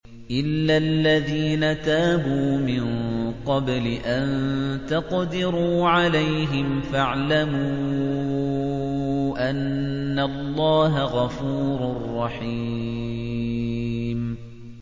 إِلَّا الَّذِينَ تَابُوا مِن قَبْلِ أَن تَقْدِرُوا عَلَيْهِمْ ۖ فَاعْلَمُوا أَنَّ اللَّهَ غَفُورٌ رَّحِيمٌ